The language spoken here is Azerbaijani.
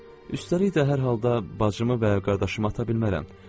Üstəlik də hər halda bacımı və ya qardaşımı ata bilmərəm.